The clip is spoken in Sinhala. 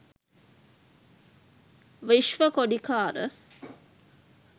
vishwa kodikara